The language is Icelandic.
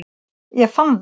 Ég fann það.